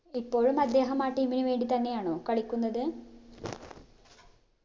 ഇപ്പോഴും അദ്ദേഹം ആ team ന് വേണ്ടി തന്നെയാണോ കളിക്കുന്നത്